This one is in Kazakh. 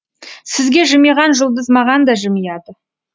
сізге жымиған жұлдыз маған да жымияды